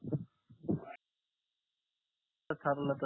तर